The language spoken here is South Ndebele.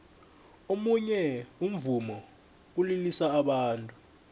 omunye umvumo ulilisa abantu